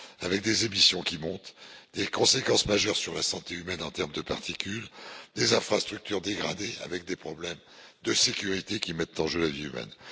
avec des émissions qui augmentent, des conséquences majeures sur la santé humaine en termes de particules et des infrastructures dégradées avec des problèmes de sécurité qui mettent en jeu la vie humaine?